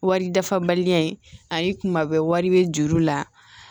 Wari dafabaliya in ayi kuma bɛɛ wari bɛ juru la